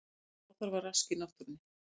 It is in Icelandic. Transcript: Ekkert óþarfa rask í náttúrunni